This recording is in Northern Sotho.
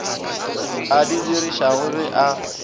a di dirišago ge a